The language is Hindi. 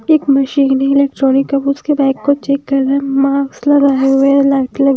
एक मशीन है इलेक्ट्रॉनिक अब उसके बाइक को चेक कर रहा है मास्क लगाए हुए लाइट --